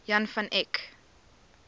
jan van eyck